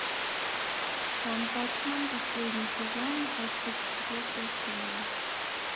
ванпанчмен последний сезон двадцать четвертая серия